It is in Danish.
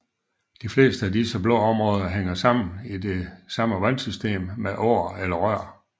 De fleste af disse blå områder hænger sammen i det samme vandsystem med åer eller rør